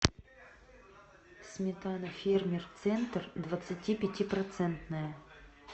сметана фермер центр двадцати пяти процентная